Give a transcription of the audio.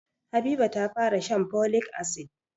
Habiba ta fara shan folic asid.